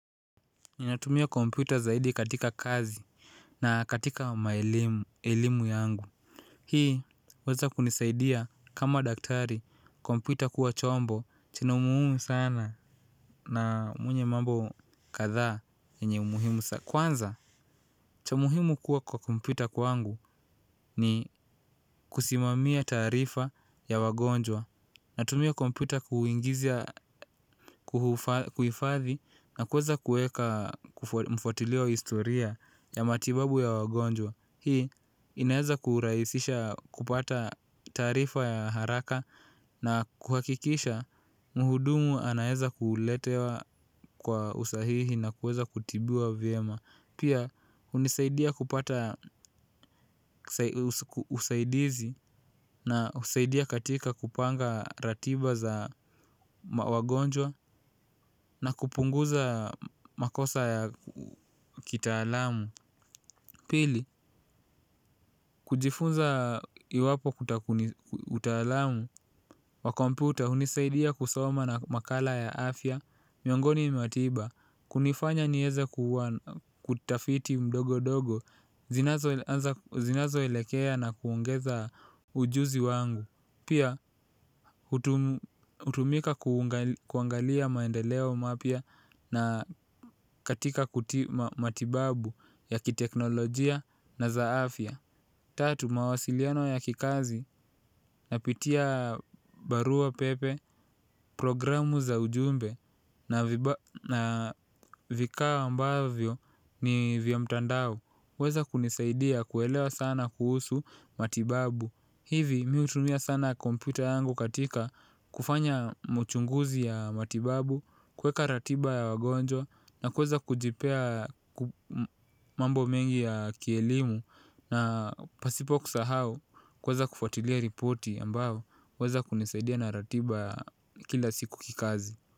Ninatumia kompyuta zaidi katika kazi na katika elimu yangu. Hii huweza kunisaidia kama daktari, kompyuta kuwa chombo chenye umuhimu sana na mwenye mambo kadhaa yenye umuhimu sana. Kwanza cha muhimu kuwa kwa kompyuta kwangu ni kusimamia taarifa ya wagonjwa. Natumia kompyuta kuingiza kuifadhi na kuweza kuweka mfuatilio wa historia ya matibabu ya wagonjwa. Hii inaweza kurahisisha kupata taarifa ya haraka na kuhakikisha mhudumu anaweza kuletewa kwa usahihi na kuweza kutibiwa vyema. Pia, hunisaidia kupata usaidizi na husaidia katika kupanga ratiba za wagonjwa na kupunguza makosa ya kitaalamu. Pili, kujifunza iwapo utalamu wa kompyta hunisaidia kusoma na makala ya afya, miongoni mwa tiba, kunifanya niweze kutafiti ndogo ndogo zinazo zinazo elekea na kuongeza ujuzi wangu. Pia hutumika kuangalia maendeleo mapya na katika matibabu ya kiteknolojia na za afia. Tatu, mawasiliano ya kikazi, napitia barua pepe, programu za ujumbe na na vifaa ambavyo ni vya mtandao. Huweza kunisaidia kuelewa sana kuhusu matibabu. Hivi mimi hutumia sana kompyuta yangu katika kufanya mauchunguzi ya matibabu, kuweka ratiba ya wagonjwa na kuweza kujipea mambo mengi ya kielimu. Na pasipo kusahau kuweza kufatilia ripoti ambayo huweza kunisaidia na ratiba ya kila siku kikazi.